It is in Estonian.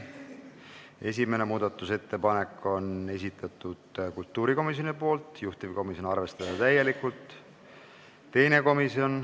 Esimese muudatusettepaneku on esitanud kultuurikomisjon, juhtivkomisjon: arvestada täielikult.